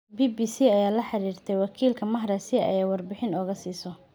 BBC ayaa la xiriirtay wakiilka Mahrez si ay warbixin uga siiso.